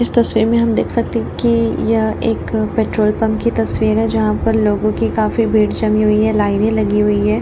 इस तस्वीर मे हम देख सकते है की यह एक पेट्रोल पंप की तस्वीर है जहां पर लोगो की काफी भीड़ जमी हुई है लाईने लगी हुई है।